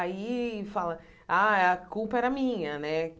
Aí, fala ah a culpa era minha né.